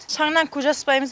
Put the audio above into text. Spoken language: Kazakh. шаңнан көз ашпаймыз